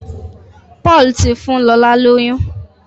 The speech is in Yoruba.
Paul tí fún lọla lóyún.